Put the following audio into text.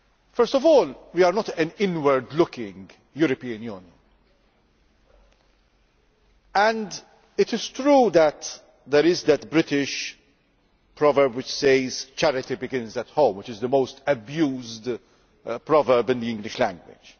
First of all, we are not an inward looking European Union. It is true that there is that English proverb which says charity begins at home', which is the most abused proverb in the English language.